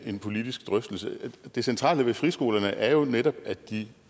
en politisk drøftelse det centrale ved friskolerne er jo netop at de